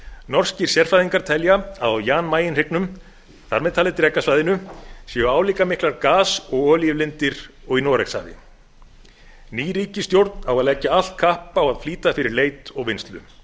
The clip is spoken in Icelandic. norskir sérfræðingur telja að á jan mayen hryggnum þar með talið drekasvæðinu séu álíka miklar gas og olíulindir og í noregshafi ný ríkisstjórn á að leggja allt kapp á að flýta fyrir leit og vinnslu